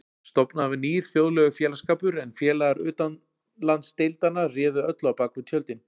Stofnaður var nýr, þjóðlegur félagsskapur, en félagar utanlandsdeildanna réðu öllu á bak við tjöldin.